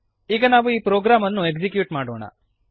ಈಗ ನಾವು ಈ ಪ್ರೋಗ್ರಾಮನ್ನು ಎಕ್ಸೀಕ್ಯೂಟ್ ಮಾಡೋಣ